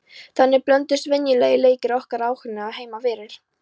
Þannig blönduðust venjulegir leikir okkar óhugnaðinum heima fyrir.